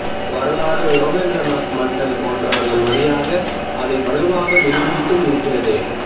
வரலாறு யோகேந்திரநாத் மண்டல் போன்றவர்கள் வழியாக அதை வலுவாக நிரூபித்தும் இருக்கிறது